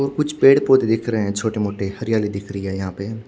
और कुछ पेड़ पोधे दिख रहे है छोटे मोटे हरियाली दिख रही है यहाँ पे--